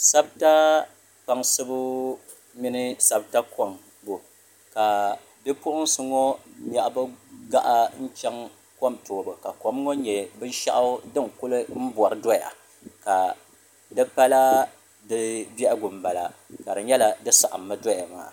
Sabta kpaŋsibu ni sabta koŋbu ka bipuɣinsi ŋɔ nyaɣi bɛ gaɣa n cheni kom toobu kom ŋɔ nyɛ binshaɣu din kuli bori doya ka dikala di biɛhigu m bala ka di nyɛla di saɣim mi doya maa.